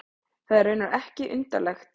Það er raunar ekki undarlegt.